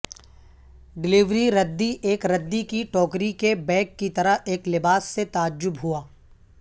delivery ردی ایک ردی کی ٹوکری کے بیگ کی طرح ایک لباس سے تعجب ہوا